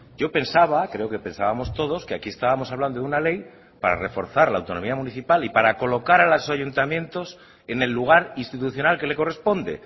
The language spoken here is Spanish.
yo pensaba creo que pensábamos todos que aquí estábamos hablando de una ley para reforzar la autonomía municipal y para colocar a los ayuntamientos en el lugar institucional que le corresponde